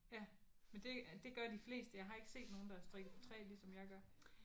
Ja men det det gør de fleste. Jeg har ikke set nogen der strikker på 3 ligesom jeg gør